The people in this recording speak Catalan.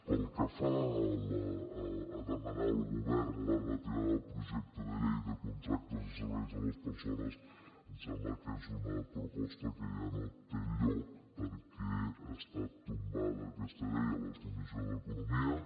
pel que fa a demanar al govern la retirada del projecte de llei de contractes de serveis a les persones ens sembla que és una proposta que ja no té lloc perquè ha estat tombada aquesta llei a la comissió d’economia